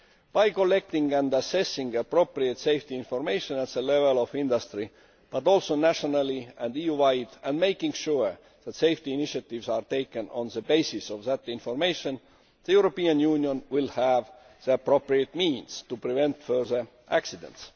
By collecting and assessing appropriate safety information at industry level, but also nationally and EU wide and making sure that safety initiatives are taken on the basis of that information the European Union will have the appropriate means to prevent further accidents.